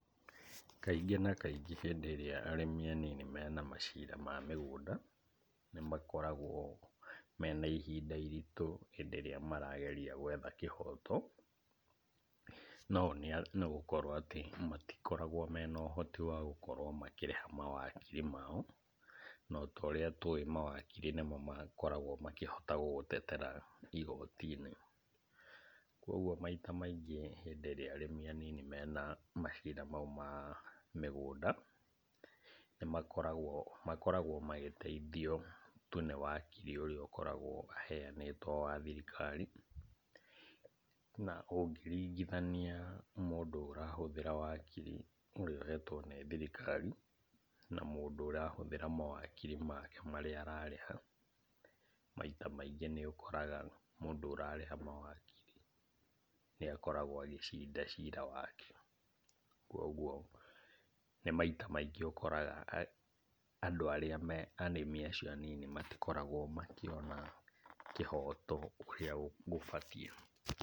Kaingĩ na kaingĩ hĩndĩ ĩrĩa arĩmi anini mena macira ma mĩgũnda nĩmakoragwo mena ihinda iritũ hĩndĩ ĩrĩa marageria gwetha kĩhoto, na ũũ nĩgũkorwo atĩ matikoragwo mena ũhoti wa gũkorwo makĩrĩha mawakiri mao, na ota ũrĩa tũĩ mawakiri nĩmo makoragwo makĩhota gũgũtetera igoti-inĩ. Kuoguo maita maingĩ hĩndĩ ĩrĩa arĩmi anini mena macira mau ma mĩgũnda nĩmakoragwo makoragwo magĩteithio tu nĩ wakiri ũrĩa akoragwo aheanĩtwo wa thirikari. Na, ũngĩringithania mũndũ ũrahũthĩra wakiri ũrĩa ũhetwo nĩ thirikari na mũndũ ũrahũthĩra mawakiri make marĩa ararĩha, maita maingĩ nĩũkoraga mũndũ ũrarĩha mawakiri nĩakoragwo agĩcinda cira wake. Kuoguo nĩ maita maingĩ ũkoraga andũ arĩa me arĩmi acio anini matikoragwo makĩona kĩhoto ũrĩa gũbatiĩ.